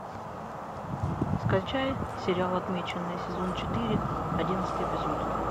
скачай сериал отмеченные сезон четыре одиннадцатый эпизод